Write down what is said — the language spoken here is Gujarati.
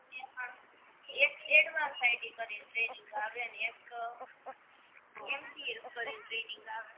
એમાં એક એડવાંન્સ ટાઈપિંગ કરીને ટ્રેનિંગ આવે ને એક એમ સી એ કરીને ટ્રેનિંગ આવે